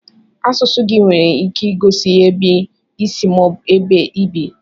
Asụsụ gị nwere ike igosi ebe isi ma ọ bụ ebe ibi.